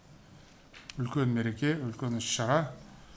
үлкен мереке үлкен іс шара